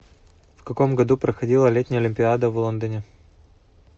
в каком году проходила летняя олимпиада в лондоне